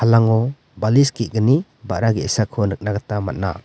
palango balis ge·gni ba·ra ge·sako nikna gita man·a.